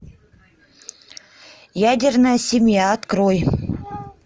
ядерная семья открой